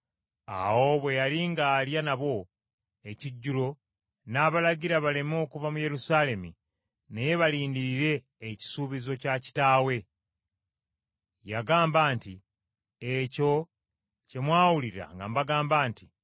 Awo bwe yali ng’alya nabo ekijjulo n’abalagira baleme kuva mu Yerusaalemi naye balindirire ekisuubizo kya Kitaawe. Yagamba nti, “Ekyo kye mwawulira nga mbagamba nti,